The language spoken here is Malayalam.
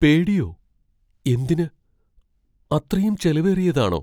പേടിയോ? എന്തിന്? അത്രയും ചെലവേറിയതാണോ?